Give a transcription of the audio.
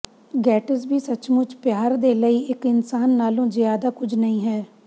Gatsby ਸੱਚਮੁੱਚ ਪਿਆਰ ਦੇ ਲਈ ਇੱਕ ਇਨਸਾਨ ਨਾਲੋਂ ਜ਼ਿਆਦਾ ਕੁਝ ਨਹੀਂ ਹੈ